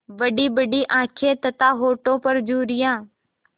बड़ीबड़ी आँखें तथा होठों पर झुर्रियाँ